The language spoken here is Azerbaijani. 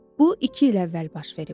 Bu iki il əvvəl baş verib.